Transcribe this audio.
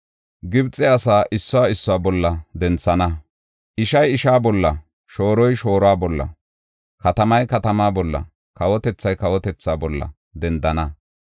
Gibxe asaa issuwa issuwa bolla denthana. Ishay ishaa bolla, shooroy shooruwa bolla, katamay katamaa bolla, kawotethay kawotethaa bolla dendana.